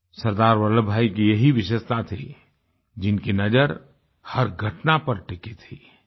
सरदार वल्लभभाई की ये ही विशेषता थी जिनकी नज़र हर घटना पर टिकी थी